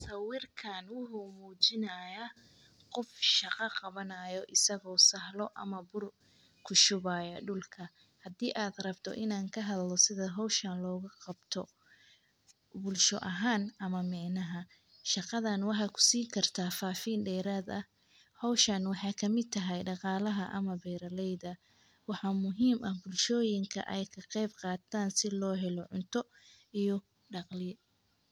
Sawirkaan wuxuu muujinayaa qof shaqo qabanayo isagoo sahlo ama bur ku shubaya dhulka. Haddii aad rabto inaan kahal lo sida hawshaan looga qabto bulsho ahaan ama mecnaha, shaqadaan waxaa ku siin kartaa faafiin dheeraad ah. Hawshaan waxaa ka mita dhaqaalaha ama beeralayda. Waxa muhiim ah bulshooyinka ay ka qeyb qaataan si loo helo cunto iyo dhaqli.